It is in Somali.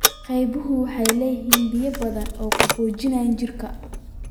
Qabaxu waxay leedahay biyo badan oo qaboojiya jidhka.